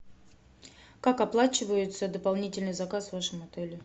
как оплачивается дополнительный заказ в вашем отеле